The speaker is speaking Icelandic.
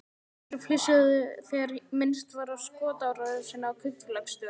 Nokkrir flissuðu þegar minnst var á skotárásina á kaupfélagsstjórann.